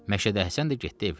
Məşədi Həsən də getdi evinə.